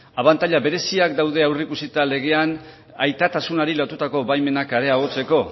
abantaila bereziak daude aurreikusita legean aitatasunari lotutako baimenak areagotzeko